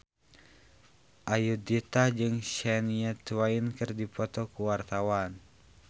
Ayudhita jeung Shania Twain keur dipoto ku wartawan